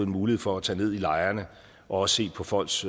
mulighed for at tage ned i lejrene og også se på folks